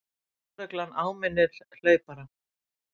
Lögregla áminnir hlaupara